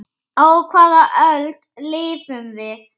Á hvaða öld lifum við?